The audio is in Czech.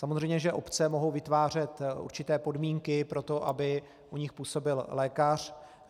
Samozřejmě že obce mohou vytvářet určité podmínky pro to, aby u nich působil lékař.